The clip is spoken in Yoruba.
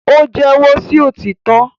o jẹwọ sí òtítọ